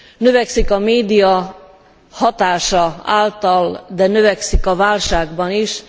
Növekszik a média hatása által, de növekszik a válságban is.